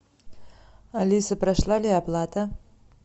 алиса прошла ли оплата